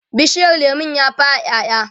bishiyar lemun ya fara ƴaƴa?